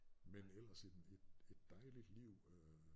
Men ellers et et dejligt liv øh